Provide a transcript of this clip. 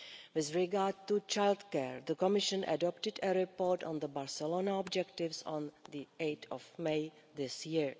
With regard to childcare, the Commission adopted a report on the Barcelona objectives on 8 May this year.